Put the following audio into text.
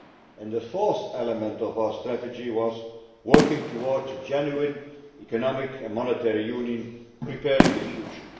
and the fourth element of our strategy was working towards a genuine Economic and Monetary Union preparing for the future.